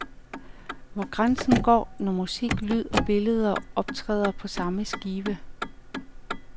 Hvor går grænsen, når musik, lyd og billeder optræder på samme skive.